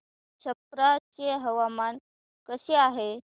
छप्रा चे हवामान कसे आहे